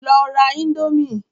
Lọ ra indomie!